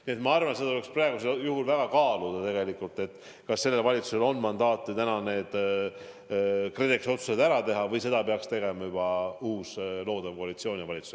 Nii et ma arvan, et seda tuleks praegu väga kaaluda, kas sellel valitsusel on mandaati KredExit puudutavad otsused ära teha või seda peaks tegema juba uus loodav koalitsioon ja valitsus.